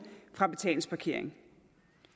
fra betalingsparkering